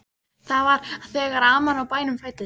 Það var þegar amman á bænum fæddist.